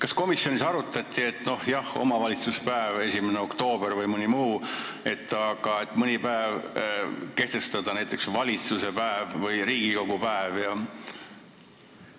Kas komisjonis arutati, et kui on juba omavalitsuspäev, 1. oktoober või mõni muu, siis kehtestada ka näiteks valitsuse päev või Riigikogu päev?